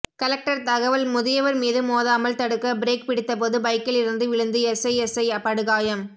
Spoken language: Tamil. கலெக்டர் தகவல் முதியவர் மீது மோதாமல் தடுக்க பிரேக் பிடித்தபோது பைக்கில் இருந்து விழுந்து எஸ்எஸ்ஐ படுகாயம்